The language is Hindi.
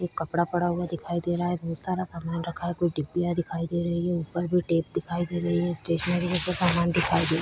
एक कपड़ा पड़ा हुआ दिखाई दे रहा है बहोत सारा सामान रखा है कुछ डिबिया दिखाई दे रही है ऊपर भी टेप दिखाई दे रही है स्टेशनरी जैसा सामान दिखाई दे --